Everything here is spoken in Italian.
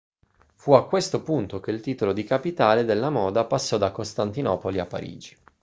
fu a questo punto che il titolo di capitale della moda passò da costantinopoli a parigi